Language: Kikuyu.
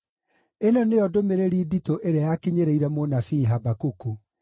Ĩno nĩyo ndũmĩrĩri nditũ ĩrĩa yakinyĩrĩire mũnabii Habakuku.